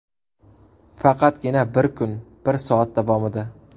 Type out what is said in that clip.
Faqatgina bir kun, bir soat davomida!